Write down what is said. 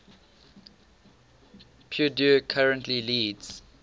purdue currently leads